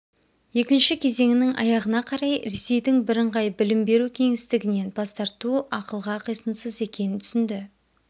екінші кезеңінің аяғына қарай ресейдің бірыңғай білім беру кеңістігінен бас тарту ақылға қисынсыз екенін түсінді